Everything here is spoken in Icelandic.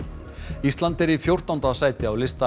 ísland er í fjórtánda sæti á lista